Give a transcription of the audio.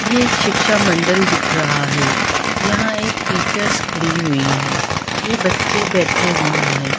ये एक शिक्षा मंडल दिख रहा है यहाँ एक टीचर्स खड़ी हुई है ये बच्चे बैठे हुए है।